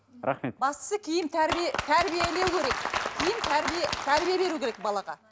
рахмет бастысы киім тәрбие тәрбиелеу керек киім тәрбие тәрбие беру керек балаға